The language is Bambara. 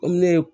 Komi ne ye